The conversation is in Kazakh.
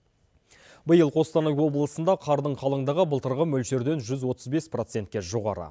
биыл қостанай облысында қардың қалыңдығы былтырғы мөлшерден жүз отыз бес процентке жоғары